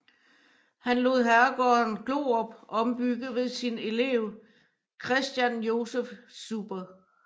Han lod herregården Glorup ombygge ved sin elev Christian Joseph Zuber